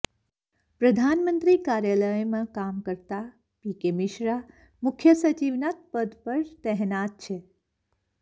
પ્રધાનમંત્રી કાર્યાલયમાં કામ કરતા પી કે મિશ્રા મુખ્ય સચિવના પદ પર તહેનાત છે